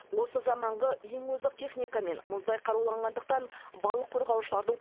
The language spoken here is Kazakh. осы заманғы ең озық техникамен мұздай қаруланғандықтан балық қорғаушылардың